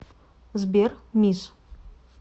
сбер мисс